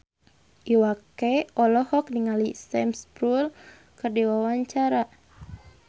Iwa K olohok ningali Sam Spruell keur diwawancara